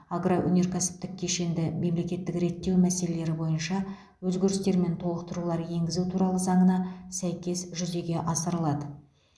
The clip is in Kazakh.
агроөнеркәсіптік кешенді мемлекеттік реттеу мәселелері бойынша өзгерістер мен толықтыру енгізу туралы заңына сәйкес жүзеге асырылады